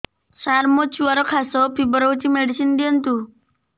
ସାର ମୋର ଛୁଆର ଖାସ ଓ ଫିବର ହଉଚି ମେଡିସିନ ଦିଅନ୍ତୁ